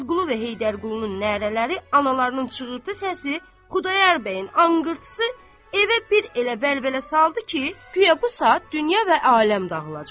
Muradqulu və Heydərqulunun nərələri, analarının çığırtı səsi, Xudayar bəyin anqırtısı evə bir elə vəlvələ saldı ki, guya bu saat dünya və aləm dağılacaq.